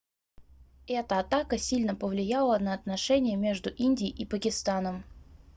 эта атака сильно повлияла на отношения между индией и пакистаном